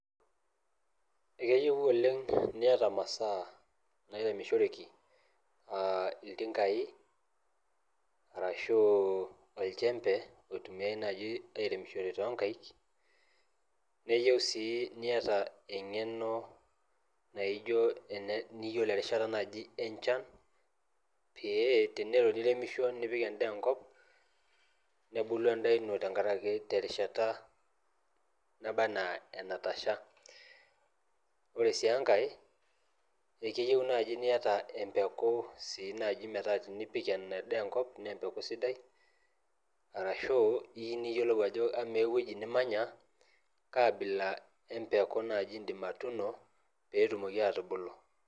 Ekeyieu niyata imasaa nairemishoreki aa iltinkai arashu olchembe oitumiae naaji airemishore tonkaik neyieu sii niyata eng'eno naijo ene niyiolo erishata naaji enchan pee tenelo niremisho nipik endaa enkop nebulu endaa ino tenkarake terishata naba anaa enatasha ore sii enkae ekeyieu naaji niyata empeku sii naaji metaa tinipik ina daa enkop naa empeku sidai arashu iyieu niyiolou ajo amaa ewueji nimanya kaabila empeku naaji indim atuno petumoki abulu.